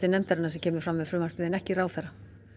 nefndarinnar sem kemur fram með frumvarpið en ekki ráðherrann